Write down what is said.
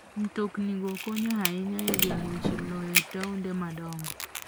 Mtoknigo konyo ahinya e geng'o chilo e taonde madongo.